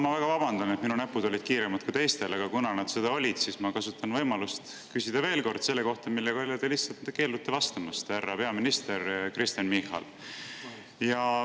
Ma väga vabandan, et mu näpud olid kiiremad kui teistel, aga kuna nad seda olid, siis kasutan võimalust küsida veel kord selle kohta, millele te keeldute vastamast, härra peaminister Kristen Michal.